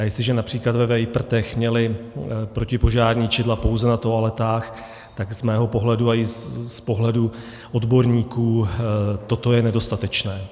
A jestliže například ve Vejprtech měli protipožární čidla pouze na toaletách, tak z mého pohledu a i z pohledu odborníků toto je nedostatečné.